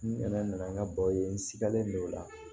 N nana n ka baw ye n sikalen don o la